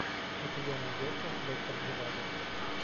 у тебя найдется доктор живаго